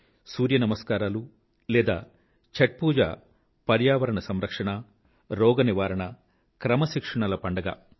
ఈ సూర్య నమస్కారాలు లేదా ఛాత్ పూజ పర్యావరణ సంరక్షణ రోగ నివారణ క్రమశిక్షణల పండుగ